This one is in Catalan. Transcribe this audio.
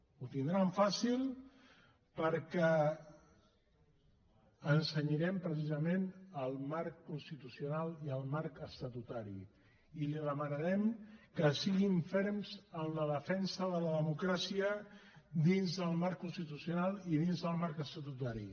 ho tindran fàcil perquè ens cenyirem precisament al marc constitucional i al marc estatutari i li demanarem que siguin ferms en la defensa de la democràcia dins del marc constitucional i dins del marc estatutari